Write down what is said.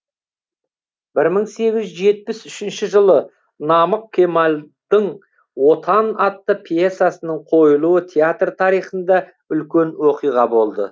мың сегіз жүз жетпіс үшінші жылы намық кемалдың отан атты пьесасының қойылуы театр тарихында үлкен оқиға болды